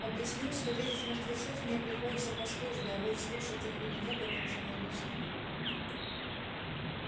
объяснил что видеть мертвецов мне приходится по службе а вот слушать их или нет это уже мой личный выбор